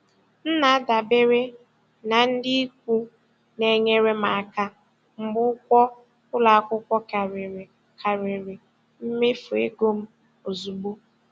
M na-adabere na ndị ikwu na-enyere m aka mgbe ụgwọ ụlọ akwụkwọ karịrị karịrị mmefu ego m ozugbo.